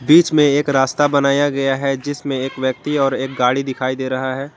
बीच में एक रास्ता बनाया गया है जिसमें एक व्यक्ति और एक गाड़ी दिखाई दे रहा है।